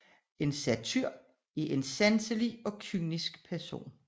En satyr er en sanselig og kynisk person